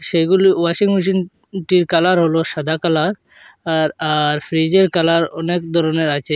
সেইগুলি ওয়াশিং মেশিনটির কালার হলো সাদা কালার আর আর ফ্রিজের কালার অনেক দরনের আচে।